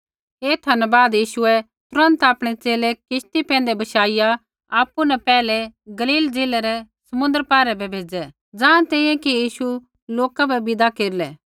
एथा न बाद यीशुऐ तुरन्त आपणै च़ेले किश्ती पैंधै बशाइया आपु न पैहलै गलील ज़िलै री समुन्द्रा पारै बै भेज़ै ज़ाँ तैंईंयैं कि यीशु लोका बै विदा केरलै